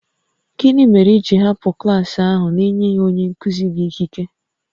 Gịnị mere i ji hapụ klas ahụ n'enyeghị onye nkụzi gị ikike?